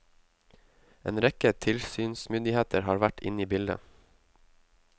En rekke tilsynsmyndigheter har vært inne i bildet.